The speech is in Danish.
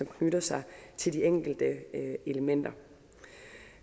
knytter sig til de enkelte elementer